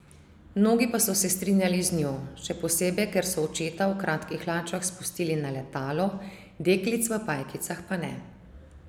Mnogi pa so se strinjali z njo, še posebej ker so očeta v kratkih hlačah spustili na letalo, deklic v pajkicah pa ne.